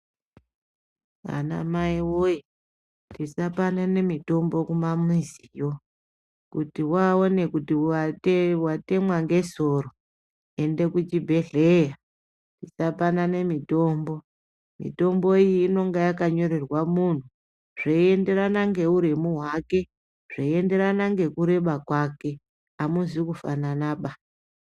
Anamai woye tisapanane mitombo kumamiziyo. Kuti waone kuti watemwa ngesoro ende kuchibhehleya. Tisapanane mitombo. Mitombo iyi inenga yakanyorerwa munhu, zveienderana ngeuremu hwake, zveienderana nekureba kwake. Amuzi kufananaba.